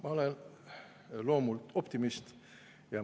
Ma olen loomult optimist.